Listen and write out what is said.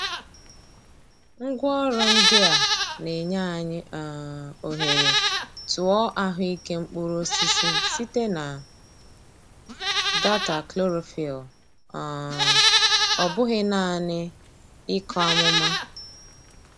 Ngwaọrụ ndị a na-enye anyị um ohere tụọ ahụike mkpụrụ osisi site na data chlorophyll, um ọ bụghị naanị ịkọ amụma.